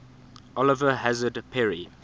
oliver hazard perry